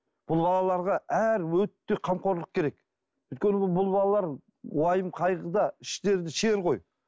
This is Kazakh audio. бұл балаларға әр өте қамқорлық керек өйткені бұл балалар уайым қайғыда іштерінде шер ғой